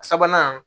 Sabanan